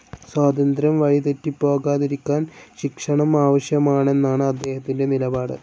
സ്വാതന്ത്ര്യം വഴിതെറ്റിപ്പോകാതിരിക്കാൻ ശിക്ഷണം ആവശ്യമാണെന്നാണ്‌ അദ്ദേഹത്തിന്റെ നിലപാട്.